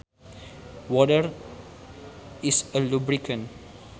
Water is a lubricant